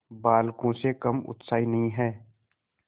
बालकों से कम उत्साही नहीं है